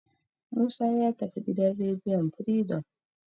Musa ya tafi gidan rediyon Firidom.